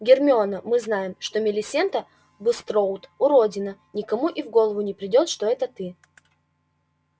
гермиона мы знаем что милисента булстроуд уродина никому и в голову не придёт что это ты